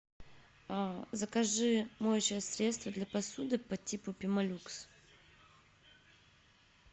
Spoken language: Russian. закажи моющее средство для посуды по типу пемолюкса